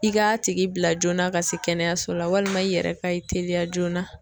I k'a tigi bila joona ka se kɛnɛyaso la walima i yɛrɛ ka i teliya joona.